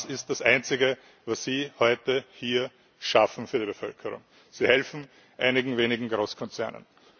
Das ist das einzige, was Sie heute hier schaffen für die Bevölkerung Sie helfen einigen wenigen Großkonzernen.